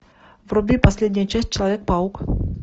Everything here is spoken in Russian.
вруби последняя часть человек паук